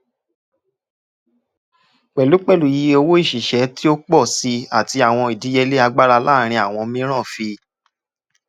pẹlupẹlu iye owo iṣiṣẹ ti o pọ si ati awọn idiyele agbara laarin awọn miiran fi